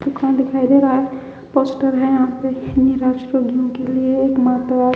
दुकान दिखाई दे रहा है पोस्टर है यहां के लिए एक मात्र--